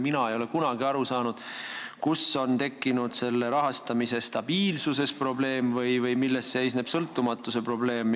Mina ei ole kunagi aru saanud, kus peitub rahastamise stabiilsuses probleem või milles seisneb sõltumatuse probleem.